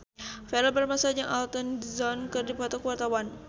Verrell Bramastra jeung Elton John keur dipoto ku wartawan